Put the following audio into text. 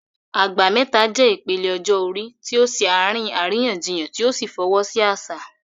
Agba Meta" jẹ́ ìpele ọjọ́ orí tí ó ṣe àárín àríyànjiyàn tí ó sì fọwọ́ sí àṣà.